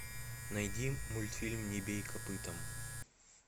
найди мультфильм не бей копытом